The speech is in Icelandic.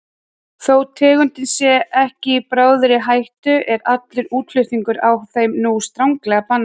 Þó tegundin sé ekki í bráðri hættu er allur útflutningur á þeim nú stranglega bannaður.